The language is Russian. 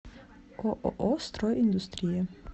ооо строй индустрия